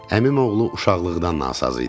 Əmim oğlu uşaqlıqdan nasaz idi.